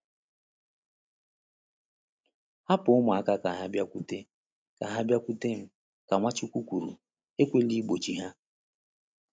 “Hapụ ụmụaka ka ha bịakwute ka ha bịakwute m,” ka Nwachukwu kwuru, “ekwela igbochi ha.”